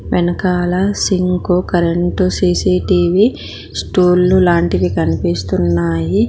వెనకాల sink current CCTV స్టూళ్ళు లాంటివి కనిపిస్తున్నాయి.